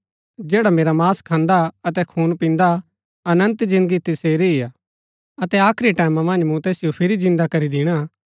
जैडा मेरा मांस खान्दा अतै खून पिन्दा अनन्त जिन्दगी तसेरी ही हा अतै आखरी टैमां मन्ज मूँ तैसिओ फिरी जिन्दा करी दिणा